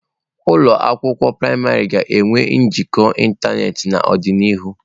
Ụlọ akwụkwọ praịmarị ga-enwe njikọ ịntanetị n'ọdịnihu.